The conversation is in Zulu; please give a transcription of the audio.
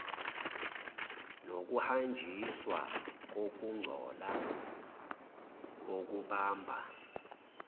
nokuhanjiswa kokungcola okubamba